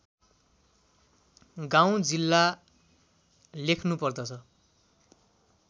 गाउँ जिल्ला लेख्नुपर्दछ